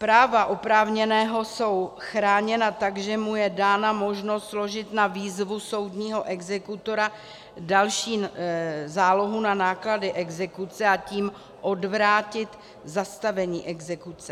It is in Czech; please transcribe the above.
Práva oprávněného jsou chráněna tak, že mu je dána možnost složit na výzvu soudního exekutora další zálohu na náklady exekuce, a tím odvrátit zastavení exekuce.